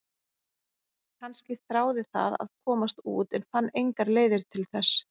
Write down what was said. Kannski þráði það að komast út en fann engar leiðir til þess?